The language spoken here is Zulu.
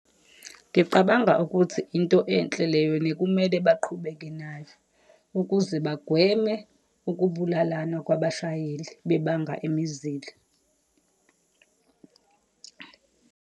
Ngicabanga ukuthi into enhle leyo and kumele baqhubeke nayo, ukuze bagweme ukubulalana kwabashayeli, bebanga imizila.